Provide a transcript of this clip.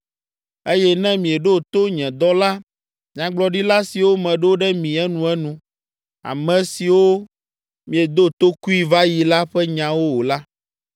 eye ne mieɖo to nye dɔla nyagblɔɖila siwo meɖo ɖe mi enuenu (ame siwo miedo tokui va yi la ƒe nyawo o la),